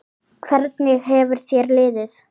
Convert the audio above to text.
Hvernig hefur þér liðið?